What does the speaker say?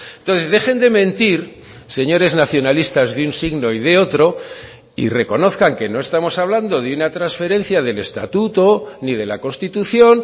entonces dejen de mentir señores nacionalistas de un signo y de otro y reconozcan que no estamos hablando de una transferencia del estatuto ni de la constitución